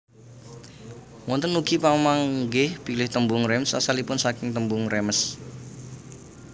Wonten ugi pamanggih bilih tembung Reims asalipun saking tembung Rèmes